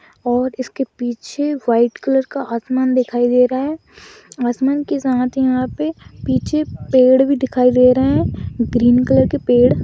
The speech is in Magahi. और इसके पीछे व्हाइट कलर का आसमान दिखाई दे रहा है आसमान के साथ यहाँ पे पीछे पेड़ भी दिखाई दे रहे है ग्रीन कलर के पेड़ --